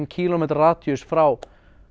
kílómetra radíus frá